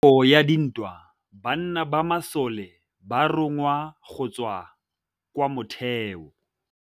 Ka nakô ya dintwa banna ba masole ba rongwa go tswa kwa mothêô.